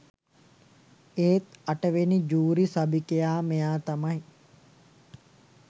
ඒත් අටවෙනි ජූරි සභිකයා මෙයා තමයි